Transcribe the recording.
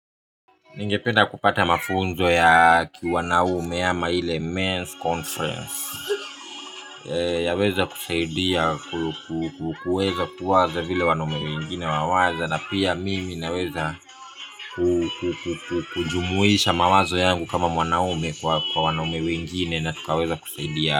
Ningependa kupata mafunzo ya kiuwanaume ama ile men's conference yaweza kusaidia kuweza kuwaza vile wanaume wengine wawaza na pia mimi naweza kujumuisha mawazo yangu kama mwanaume kwa wanaume wengine. Na tukaweza kusaidia.